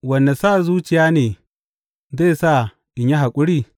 Wane sa zuciya ne zai sa in yi haƙuri?